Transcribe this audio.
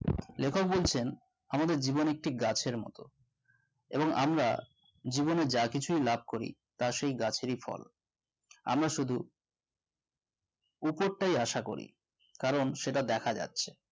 লিখক বলছেন আমাদের জীবন একটি গাছের মতো এবং আমরা জীবনে যা কিছুই লাভ করি তা সেই গাছেরই ফল আমরা শুধু উপটায় আশাকরি কারণ সেটা দেখা যাচ্ছে